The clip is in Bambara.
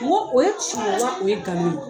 n ko o ye tiɲɛ ye wa o ye nkalon ye?